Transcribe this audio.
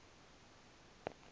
n abafazi ziphi